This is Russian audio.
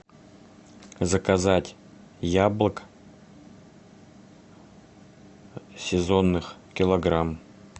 заказать яблок сезонных килограмм